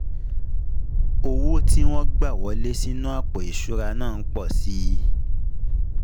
Owó tí wọ́n gbà wọlé sínú àpò ìṣura náà n po si i i